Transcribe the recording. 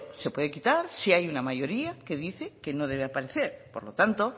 se puede quitar si hay una mayoría que dice que no debe aparecer por lo tanto